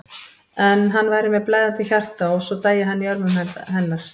En hann væri með blæðandi hjarta og svo dæi hann í örmum hennar.